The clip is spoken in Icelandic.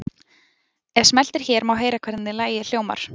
Ef smellt er hér má heyra hvernig lagið hljómar.